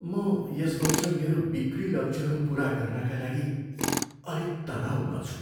म यस वर्ष मेरो बिक्री लक्ष्यहरू पुरा गर्नाका लागि अलिक तनाउमा छु।